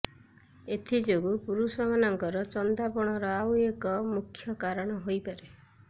ଏଥିଯୋଗୁଁ ପୁରୁଷମାନଙ୍କର ଚନ୍ଦାପଣର ଆଉ ଏକ ମୁଖ୍ୟ କାଣ ହୋଇପାରେ